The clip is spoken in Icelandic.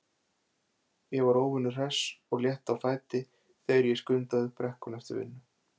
Ég var óvenju hress og létt á fæti þegar ég skundaði upp brekkuna eftir vinnu.